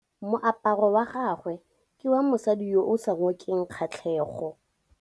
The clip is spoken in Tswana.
Moaparô wa gagwe ke wa mosadi yo o sa ngôkeng kgatlhegô.